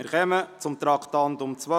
Wir kommen zum Traktandum 12: